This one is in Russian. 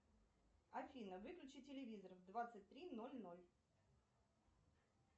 афина выключи телевизор в двадцать три ноль ноль